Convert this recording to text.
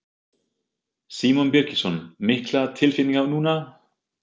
Símon Birgisson: Miklar tilfinningar núna?